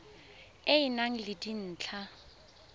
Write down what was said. e e nang le dintlha